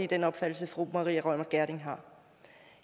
den opfattelse fru maria reumert gjerding har